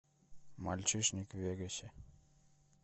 мальчишник в вегасе